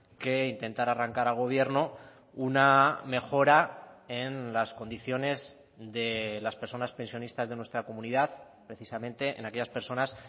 que intentar arrancar al gobierno una mejora en las condiciones de las personas pensionistas de nuestra comunidad precisamente en aquellas personas